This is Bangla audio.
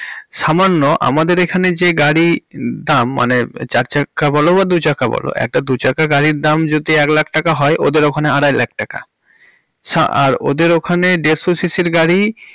সামান্য আমাদের এখানে যে গাড়ির দাম মানে চার চাকা বলো বা দু চাকা বলো একটা দু চাকা গাড়ির দাম যদি এক লাখ টাকা হয় ওদের ওখানে আড়াই লাখ টাকা। শা ওদের ওখানে দেড়শো সিঃসিঃ র গাড়ি।